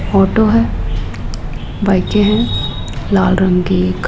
photo है बाईकें हैं लाल रंग की एक --